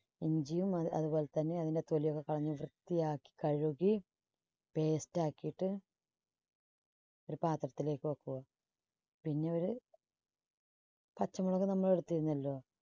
ഇഞ്ചിയും അ~അതുപോലെതന്നെ അതിന്റെ തൊലി ഒക്കെ കളഞ്ഞ് വൃത്തിയാക്കി കഴുകി paste ആക്കിയിട്ട് ഒരു പാത്രത്തിലേക്ക് വെക്കുക. പിന്നെ ഒരു പച്ചമുളക് നമ്മള് എടുത്തിരുന്നല്ലോ.